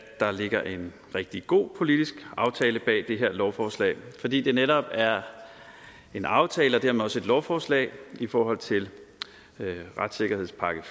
der ligger en rigtig god politisk aftale bag det her lovforslag fordi det netop er en aftale og dermed også et lovforslag i forhold til retssikkerhedspakke